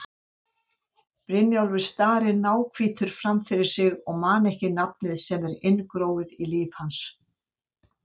Brynjólfur starir ráðvilltur framfyrir sig og man ekki nafnið sem er inngróið í líf hans.